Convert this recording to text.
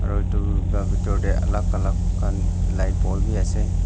aro itu laga bitor te alag alag khan light ball bi ase.